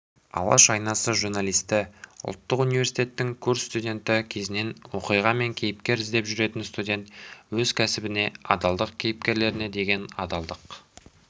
алаш айнасы журналисі ұлттық университетің курс студенті кезінен оқиға мен кейіпкер іздеп жүретін студент өз кәсібіне адалдықты кейіпкерлеріне деген адалдық